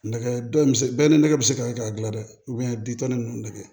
Nɛgɛ dɔ in bɛ se bɛɛ ni nɛgɛ bɛ se ka dilan dɛ bin tɔn ni ninnu nɛgɛ